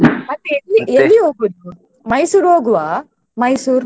ಮತ್ತೆ ಎಲ್ಲಿ ಹೋಗೋದು Mysore ಹೋಗುವಾ Mysore ?